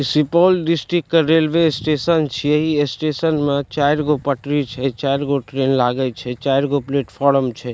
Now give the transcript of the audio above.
Supaul district के railway station छै इ स्टेशन मा चारगो पटरी छै चारगो ट्रैन लागय छै चारगो प्लेटफॉर्म छै।